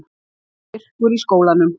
Það er myrkur í skólanum.